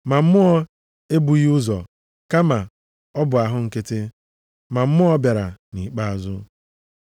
Ma mmụọ e bughị ụzọ, kama ọ bụ ahụ nkịtị, ma mmụọ bịara nʼikpeazụ.